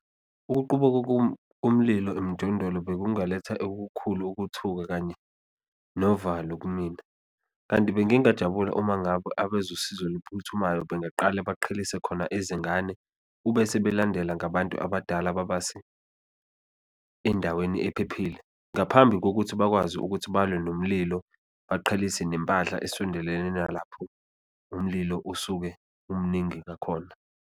Ukuqubuka komlilo emjondolo bekungaletha ekukhulu ukuthuka kanye novalo kumina kanti bengingajabula uma ngabe abezosizo oluphuthumayo bengaqala baqhelise khona izingane, ubese belandela ngabantu abadala babase endaweni ephephile, ngaphambi kokuthi bakwazi ukuthi balwe nomlilo. Beqhelise nempahla esondelene nalapho umlilo usuke umningi ngakhona.